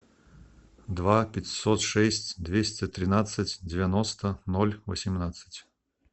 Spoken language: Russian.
два пятьсот шесть двести тринадцать девяносто ноль восемнадцать